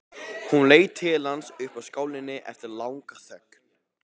Hún leit til hans upp úr skálinni eftir langa þögn.